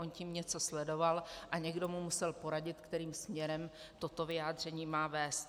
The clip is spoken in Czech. On tím něco sledoval a někdo mu musel poradit, kterým směrem toto vyjádření má vést.